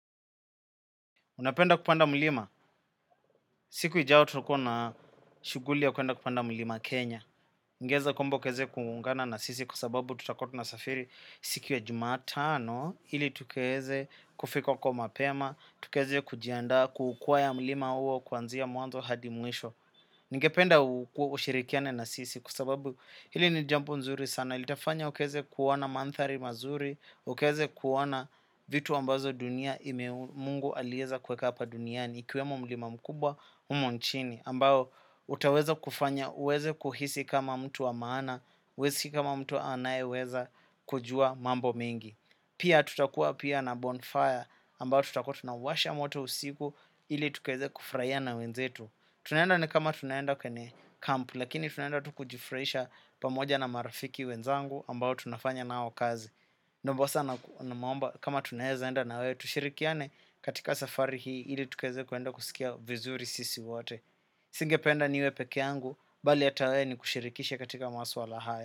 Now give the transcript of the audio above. Unapenda kupanda mlima? Siku ijayo tutakuwa na shughuli ya kwenda kupanda mlima Kenya. Ungeweza kwamba ukaweze kuuungana na sisi kwasababu tutakuwa tunasafiri siku ya jumatano? Ili tukaweze kufika huko mapema, tukaweze kujiandaa kuukwea mlima huo kuanzia mwanzo hadi mwisho. Ningependa ushirikiane na sisi kwasababu hili ni jambo zuri sana. Na itafanya ukaweze kuona mandhari mazuri, ukaweze kuona vitu ambazo dunia ime mungu aliweza kuweka hapa duniani. Ikiwemo mlima mkubwa humu nchini, ambao utaweza kufanya uweze kuhisi kama mtu wa maana, we si kama mtu anayeweza kujua mambo mengi. Pia tutakua pia na bonfire ambayo tutakua tunawasha moto usiku ili tukaweze kufurahia na wenzetu. Tunaenda ni kama tunaenda kwenye kampu, lakini tunaenda tu kujifurahisha pamoja na marafiki wenzangu ambao tunafanya nao kazi. Naomba sana naomba kama tunaweza enda na we tushirikiane katika safari hii ili tukaweze kwenda kusikia vizuri sisi wote. Nisingependa niwe peke yangu, bali hata we nikushirikishe katika masuala haya.